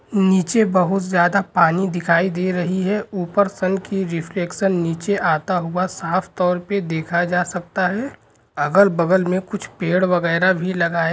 नीचे बहुत ज्यादा पानी दिखाई दे रही है ऊपर सन की रिफ्लेक्शन नीचे अता हुआ साफ तौर पर देखा जा सकता है अगल-बगल में कुछ पेड़ वेगेरा भी लगाए --